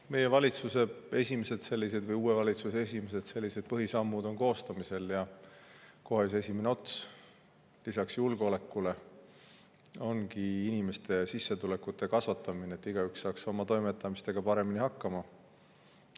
Meie valitsuse või uue valitsuse esimesed põhisammud on koostamisel ja kõige esimene lisaks julgeolekule ongi inimeste sissetulekute kasvatamine, et igaüks saaks oma toimetamistega paremini hakkama.